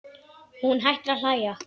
Hún hættir að hlæja.